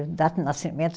Data de nascimento?